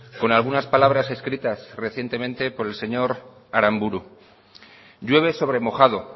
con algunas palabras escritas recientemente por el señor aramburu llueve sobre mojado